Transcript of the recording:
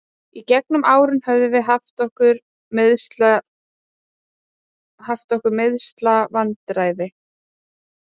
Í gegnum árin höfum við haft okkar meiðslavandræði.